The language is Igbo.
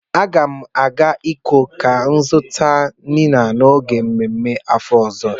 A ga m agaa ikom ka o zuta inine n'oge mmemme n'afo ozo.